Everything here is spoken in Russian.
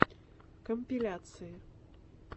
компиляции